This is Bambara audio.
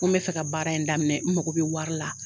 Ko n be fɛ ka baara in daminɛ, n mago be wari la.